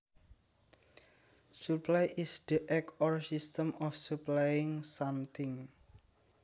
Supply is the act or system of supplying something